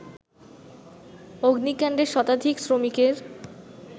অগ্নিকাণ্ডে শতাধিক শ্রমিকের